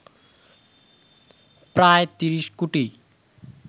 প্রায় ৩০ কোটি